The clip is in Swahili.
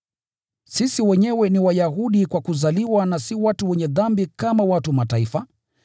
“Sisi wenyewe ni Wayahudi kwa kuzaliwa na si watu wenye dhambi kama watu wa Mataifa,